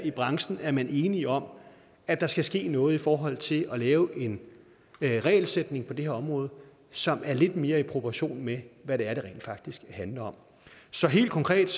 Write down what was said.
i branchen er man enige om at der skal ske noget i forhold til at lave en regelsætning på det her område som er lidt mere i proportion med hvad det er det rent faktisk handler om så helt konkret